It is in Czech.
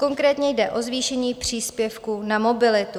Konkrétně jde o zvýšení příspěvku na mobilitu.